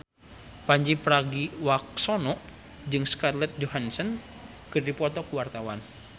Pandji Pragiwaksono jeung Scarlett Johansson keur dipoto ku wartawan